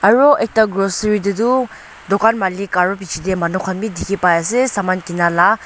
aro ekta grocery tae tu dukan malik aro bichae tae manu khan bi dikhi paiase saman kinala